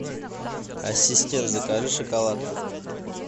ассистент закажи шоколад